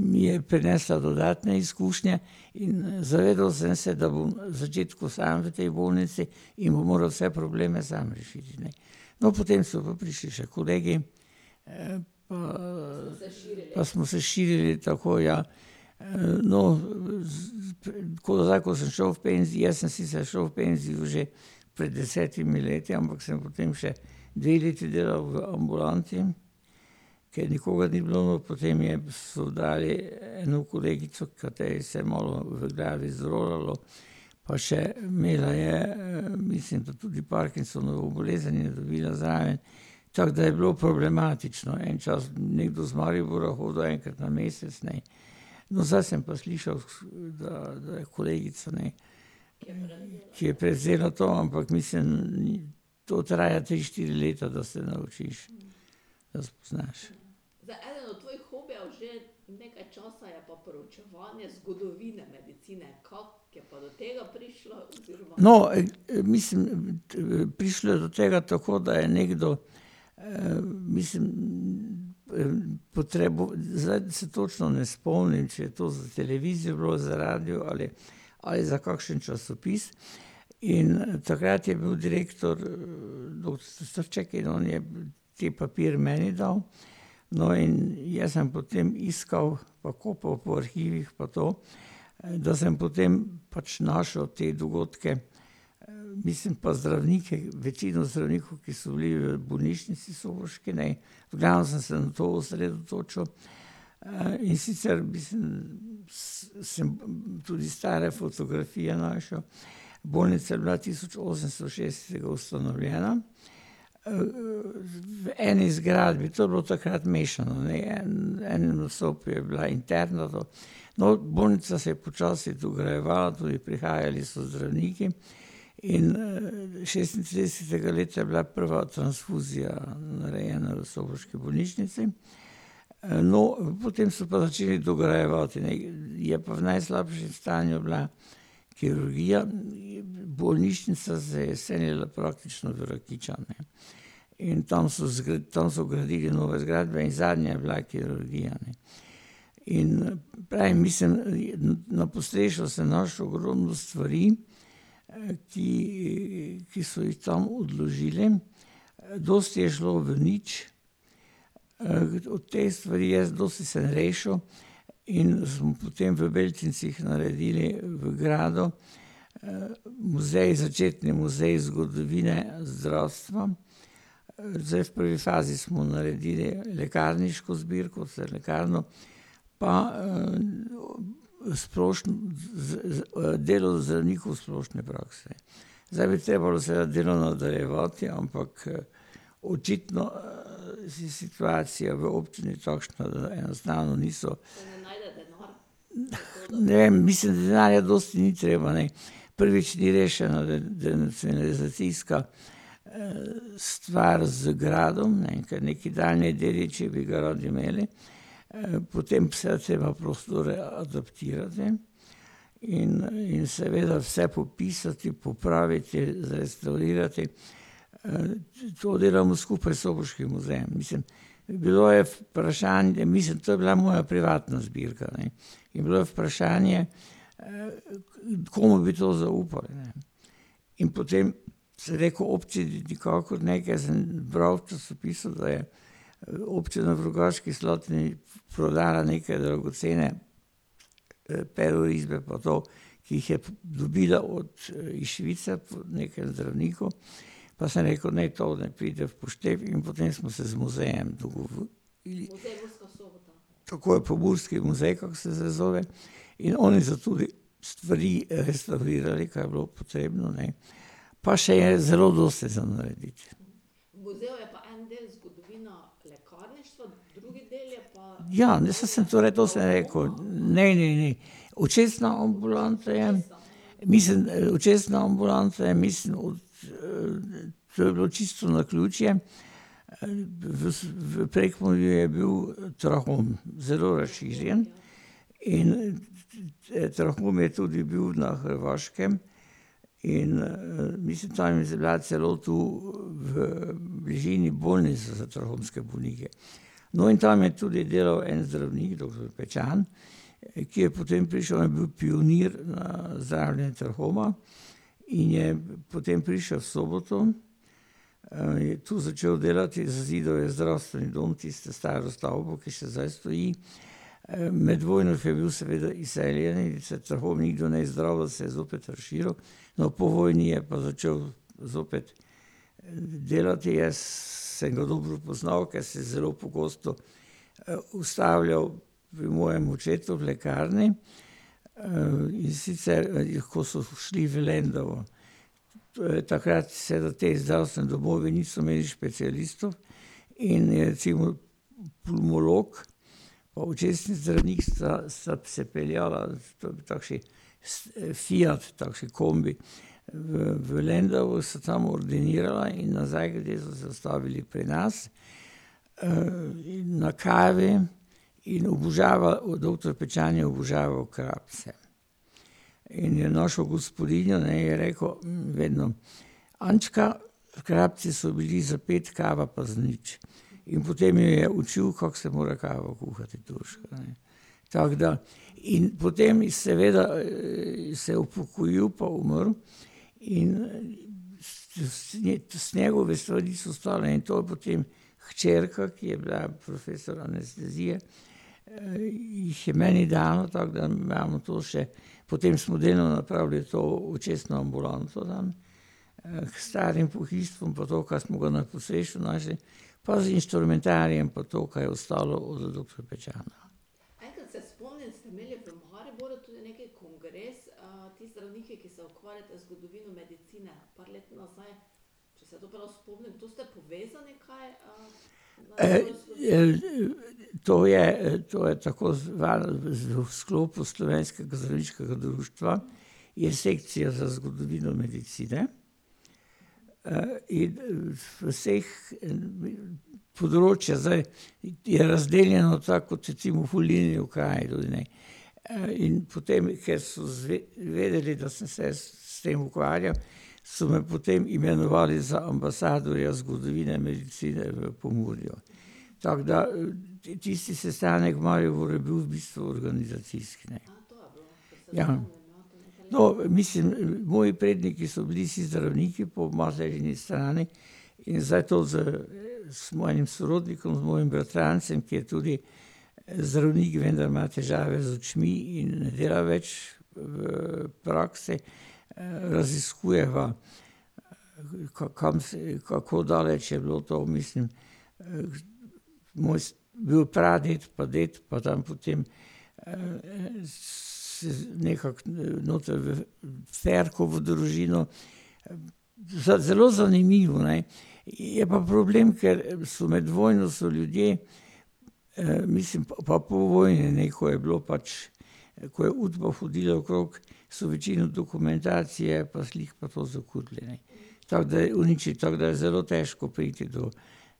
mi je prinesla dodatne izkušnje. In zavedal sem se, da bom v začetku sam v tej bolnici in bom moral vse probleme sam rešiti, ne. No, potem so pa prišli še kolegi, pa smo se širili tako, ja. no ... Tako da, ko sem šel v jaz sem sicer šel v penzijo že pred desetimi leti, ampak sem potem še dve leti delal v ambulanti, ker nikogar ni bilo, potem je, so dali eno kolegico, kateri se je malo v glavi zrolalo, pa še imela je, mislim, da tudi Parkinsonovo bolezen in je dobila zraven, tako da je bilo problematično, en čas nekdo iz Maribora hodil enkrat na mesec, ne. No, zdaj sem pa slišal, da, da je kolegica, ne, ki je prevzela to, ampak mislim, to traja tri, štiri leta, da se naučiš, da spoznaš. No, mislim, prišlo je do tega, tako da je nekdo, mislim, zdaj se točno ne spomnim, če je to za televizijo bilo, za radio ali, ali za kakšen časopis, in takrat je bil direktor in on je ti papir meni dal, no, in jaz sem potem iskal po kupu po arhivih pa to, da sem potem pač našel te dogodke, mislim pa zdravnike, večino zdravnikov, ki so bili v bolnišnici soboški, ne. V glavnem sem se na to osredotočil, in sicer, mislim, sem tudi stare fotografije našel, bolnica je bila tisoč osemsto šestinosemdeset ustanovljena, v eni zgradbi, to je bilo takrat mešano, ne, en, ena od sob je bila interna. No, bolnica se je počasi dograjevala, torej prihajali so zdravniki, in šestintridesetega leta je bila prva transfuzija narejena v soboški bolnišnici. no, potem so pa začeli dograjevati, ne, in je pa v najslabšem stanju bila kirurgija, bolnišnica se je selila praktično v Rakičan, ne. In tam so tam so gradili nove zgradbe in zadnja je bila kirurgija, ne. In prej, mislim, je, na podstrešju sem našel ogromno stvari, ki, ki so jih tam odložili. Dosti je šlo v nič. te stvari jaz dosti sem rešil, in smo potem v Beltincih naredili v gradu, muzej, začetni muzej zgodovine zdravstva. zdaj v prvi fazi smo naredili lekarniško zbirko, za lekarno, pa, v splošni, delo zdravnikov splošne prakse. Zdaj bi treba bilo vse delo nadaljevati, ampak očitno, situacija v občini takšna, da enostavno niso. ne vem, mislim, denarja dosti ni treba, ne. Prvič ni rešena denacionalizacijska, stvar z gradom, ne, ker nekaj daljni dediči bi ga radi imeli, potem vse je treba prostore adaptirati in, in seveda vse popisati, popraviti, zrestavrirati, to delamo skupaj s soboškim muzejem, mislim. Bilo je vprašanje, mislim, to je bila moja privatna zbirka, ne. In bilo je vprašanje, komu bi to zaupal, ne. In potem sem rekel: "Občini nikakor ne, ker sem bral v časopisu, da je občina v Rogaški Slatini prodala neke dragocene perorisbe, pa to, ki jih je dobila od iz Švice, od nekih zdravnikov." Pa sem rekel: "Ne, to ne pride v poštev." In potem smo se z muzejem dogovorili ... Tako je Pomurski muzej, kako se zdaj zove, in oni so tudi stvari restavrirali, kar je bilo potrebno, ne. Pa še je zelo dosti za narediti. Ja, mislim, sem torej, saj to sem rekel. Ne, ne, ni. Očesna ambulanta je, mislim, da je očesna ambulanta, je, mislim od, to je bilo čisto naključje, v v Prekmurju je bil trahom zelo razširjen in trahom je tudi bil na Hrvaškem in, mislim, tam je celo tu, v bližini bolnice za trahomske bolnike. No, in tam je tudi delal en zdravnik, doktor Pečan, ki je potem prišel, a je bil pionir na zdravljenju trahoma, in je potem prišel v Soboto, je tu začel delati, je zidal je zdravstveni dom, tisto staro stavbo, ki še zdaj stoji, med vojno, ke je bil seveda izseljen in se trahom nikdar ni zdravil in se je zopet razširil. No, po vojni je pa začel zopet delati, jaz sem ga dobro poznal, ker se je zelo pogosto ustavljal pri mojem očetu v lekarni, in sicer je, ko so šli v Lendavo. Torej takrat seveda ti zdravstveni domovi niso imeli specialistov in je recimo turmolog pa očesni zdravnik sta, sta se peljala v, v takšni fiat takšen kombi. V, v Lendavo sta tam ordinirala in nazaj grede so se ustavili pri nas, in na kavi in oboževal, doktor Pečan je oboževal krapse. In je našo gospodinjo, ne, je rekel vedno: "Ančka, krapsi so bili za pet, kava pa zanič." In potem jo je učil, kako se mora kavo kuhati turško, ne. Tako da ... In potem seveda se je upokojil pa umrl, in s s njegove stvari so stale in to potem hčerka, ki je bila profesor anestezije, jih je meni dala, tako da imamo to še. Potem smo delali napraviti to očesno ambulanto, ne. k starim pohištvom pa to, kar smo ga na podstrešju našli, pa z inštrumentarijem pa to, kar je ostalo od doktor Pečana. to je, to je tako , v sklopu slovenskega Zdravniškega društva je sekcija za zgodovino medicine, in v vseh ... Področja zdaj ... Je razdeljeno tako, kot recimo volilni okraj, ne. in potem ker so vedeli, da sem se jaz s tem ukvarjal, so me potem imenovali za ambasadorja zgodovine medicine v Pomurju. Tako da, tisti sestanek v Mariboru je bil v bistvu organizacijski. Ja. No, mislim, moji predniki so bili vsi zdravniki po materini strani in zdaj to z, z mojim sorodnikom, mojim bratrancem, ki je tudi zdravnik, vendar ima težave z očmi in ne dela več, v praksi, raziskujeva, kam se je, kako daleč je bilo to, mislim, moj bil praded pa ded pa tam potem, nekako noter v Ferkovo družino ... zelo zanimivo, ne. Je pa problem, ker so, med vojno so ljudje, mislim, pa po vojni, ne, ko je bilo pač, ko je Udba hodila okrog, so večino dokumentacije pa slik pa to zakurili, ne. Tako da je uniči, tako da je zelo težko priti do